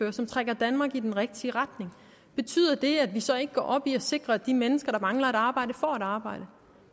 og som trækker danmark i den rigtige retning betyder det at vi så ikke går op i at sikre at de mennesker der mangler et arbejde får et arbejde